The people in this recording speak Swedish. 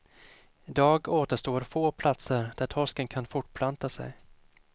Idag återstår få platser där torsken kan fortplanta sig.